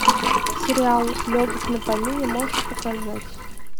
сериал легок на помине можешь показать